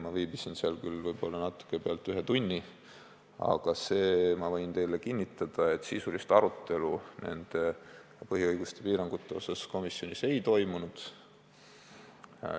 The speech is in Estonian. Ma viibisin seal küll võib-olla natuke rohkem kui ühe tunni, aga võin teile kinnitada, et sisulist arutelu põhiõiguste piirangute üle komisjonis ei toimunud.